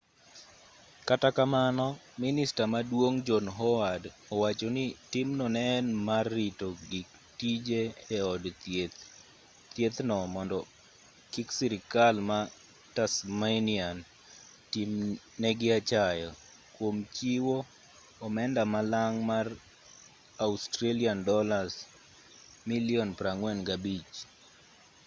kata kamano minista maduong' john howard owacho ni timno ne en mar rito gik tije e od thieth no mondo kik sirikal ma tasmanian tim negi achaya kuom chiwo omenda malang' mar aud$45 milion